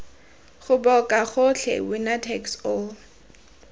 goboka gotlhe winner takes all